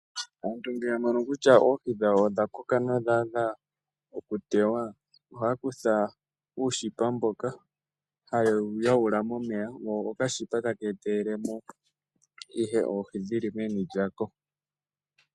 Aantu ngele yamono kutya oohi dhawo odhakoka nodhaadha okukwatwa, ohaakutha oonete etaakakwata oohi momeya, dho oonete tadhi etelele mo oohi momeya.